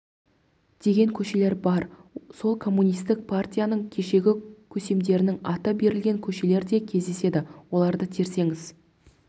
деген көшелер бар сол коммунистік партияның кешегі көсемдерінің аты берілген көшелер де кездеседі оларды терсеңіз